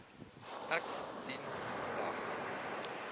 ek dien vandag